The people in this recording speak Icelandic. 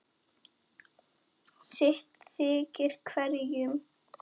sitt þykir hverjum